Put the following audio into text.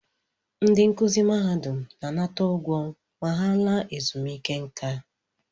Ndị nkụzi mahadum na-anata ụgwọ ma ha laa ezumike nká